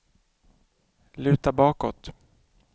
luta bakåt